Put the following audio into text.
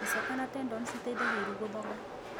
Icoka na tendon citeithagia iru gũthonga.